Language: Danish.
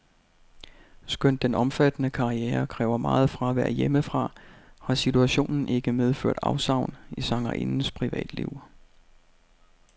Skønt den omfattende karriere kræver meget fravær hjemmefra, har situationen ikke medført afsavn i sangerindens privatliv.